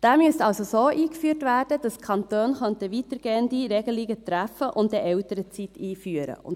Dieser müsste also so eingeführt werden, dass die Kantone weitergehende Regelungen treffen und eine Elternzeit einführen könnten.